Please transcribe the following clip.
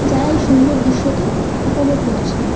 যারা এই সুন্দর দৃশ্য়কে উপভোগ করছে ।